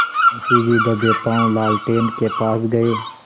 मुंशी जी दबेपॉँव लालटेन के पास गए